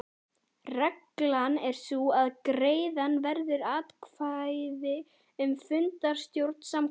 Reglan er sú að greiða verður atkvæði um fundarstjóra samkvæmt